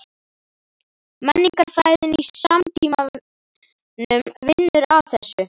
Menningarfræðin í samtímanum vinnur að þessu.